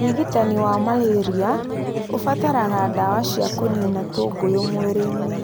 Ũrigitani wa malaria ũbataraga ndawa cia kũniina tũgunyũ mwĩrĩinĩ